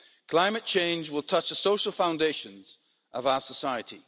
Climate change will touch the social foundations of our society.